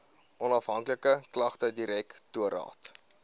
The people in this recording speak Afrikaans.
onafhanklike klagtedirektoraat